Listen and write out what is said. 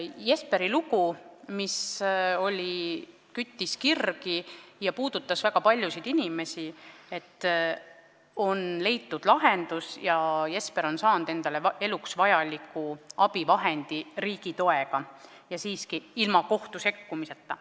Jesperi loole, mis küttis kirgi ja puudutas väga paljusid inimesi, on leitud lahendus, Jesper on riigi toega saanud endale eluks vajaliku abivahendi ja seda ilma kohtu sekkumiseta.